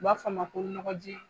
U b'a fɔ a ma ko nɔgɔ ji.